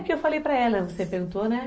É, que eu falei para ela, você perguntou, né?